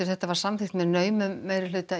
þetta var samþykkt með naumum meirihluta